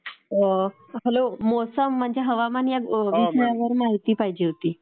Hello. मौसम म्हणजे हवामान ह्या विषयावर माहिती पाहिजे होती.